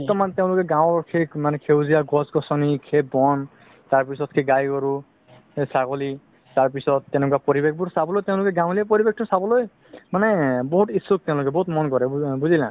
বৰ্তমান তেওলোকে গাওৰ সে সেউজীয়া গছ গছনি তাৰপিছতে গাই গৰু ছাগলি তাৰপিছত তেনেকুৱা পৰিৱেশবোৰ চাবলৈ তেওলোকে গাৱলিয়া পৰিৱেশতো চাবলৈ মানে বহুত ইচ্ছুক তেওলোকে বহুত মন কৰে বুজিলা